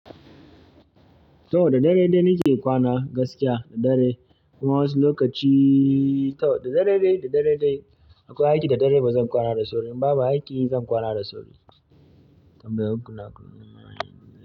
To da dare dai nike kwana gaskiya da dare kuma wasu lokaci tau da dare dai da dare dai in akwai aiki da dare bazan kwana da sauri in babu aiki zan kwana da sauri.